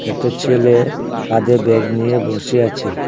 একটা ছেলে কাঁধে ব্যাগ নিয়ে বসে আছে।